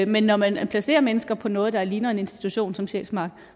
men når man placerer mennesker på noget der ligner en institution som sjælsmark